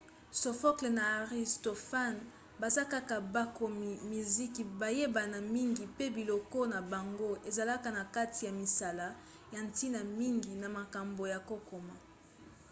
sophocle na aristophane baza kaka bakomi miziki bayebana mingi pe biloko na bango ezalaka na kati ya misala ya ntina mingi na mankombo ya kokoma